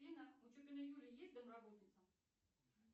афина у чупиной юлии есть домработница